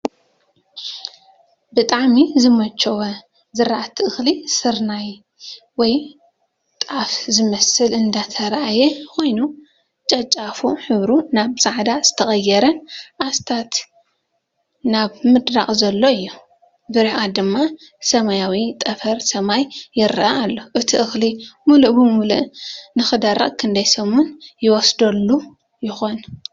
ብጣዕሚ ዝመቸዎ ዝራእቲ እኽሊ ስርናይ ወይ ጣፍ ዝመስል እንዳተራእየ ኾይኑ ጨጫፉ ሕብሩ ናብ ፃዕዳ እንዳተቐየረን ኣስታት ናብ ምድራቕ ዘሎን እዩ፡፡ ብርሐቐት ድማ ሰማያዊ ጠፈር ሰማይ ይራኣይ ኣሎ፡፡ እቲ እኽሊ ሙሉእ ብሙሉእ ንኸደርቕ ክንደይ ሰሙን ይወስደሉ ይኾን?